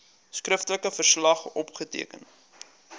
skriftelike verslag opgeteken